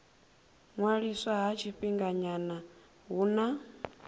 ṅwaliswa ha tshifhinganyana hu na